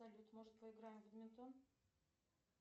салют может поиграем в бадминтон